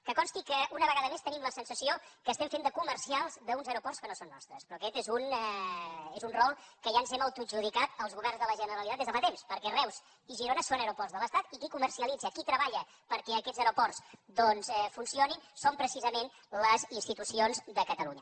que consti que una vegada més tenim la sensació que estem fent de comercials d’uns aeroports que no són nostres però aquest és un rol que ja ens hem autoadjudicat els governs de la generalitat des de fa temps perquè reus i girona són aeroports de l’estat i qui comercialitza qui treballa perquè aquests aeroports doncs funcionin són precisament les institucions de catalunya